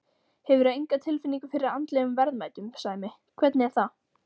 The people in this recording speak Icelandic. Hefurðu enga tilfinningu fyrir andlegum verðmætum, Sæmi, hvernig er það?